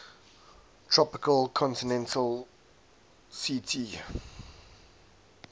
tropical continental ct